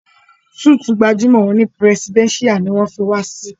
Súítì gbajúmọ̀ òní presidential ní wọ́n fí wa sí.